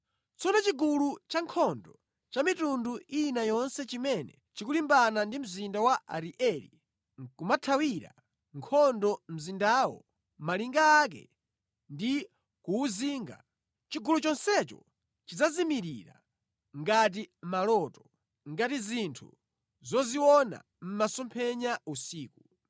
Tsono chigulu chankhondo cha mitundu ina yonse chimene chikulimbana ndi mzinda wa Arieli nʼkumathira nkhondo mzindawo, malinga ake ndi kuwuzinga, chigulu chonsecho chidzazimirira ngati maloto, gati zinthu zoziona mʼmasomphenya usiku.